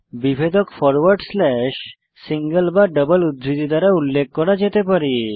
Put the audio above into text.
বিভেদক forward slash single বা double উদ্ধৃতি দ্বারা উল্লেখ করা যেতে পারে